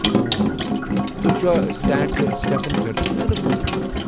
ہوٗں ۔۔ تۄہہ چھ Saint Stephen چرچس مُتعلق بوٗزمُت؟